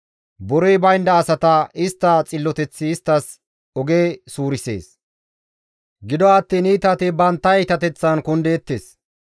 Borey baynda asata istta xilloteththi isttas oge suurisees; gido attiin iitati bantta iitateththan kundeettes.